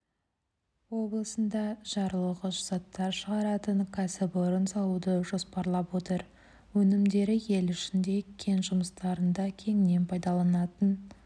облысында жарылғыш заттар шығаратын кәсіпорын салуды жоспарлап отыр өнімдері ел ішіндегі кен жұмыстарында кеңінен пайдаланылатын